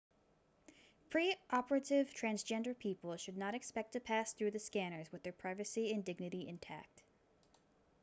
pre-operative transgender people should not expect to pass through the scanners with their privacy and dignity intact